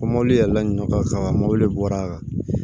Ko mɔbili yɛlɛla ɲɔɔn ka kama mɔbili bɔra a kan